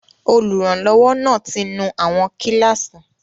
Olùrànlọ́wọ́ náà ti nú àwọn kíláàsì